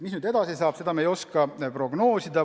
Mis nüüd edasi saab, seda me ei oska prognoosida.